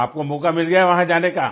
तो आपको मौका मिल गया वहां जाने का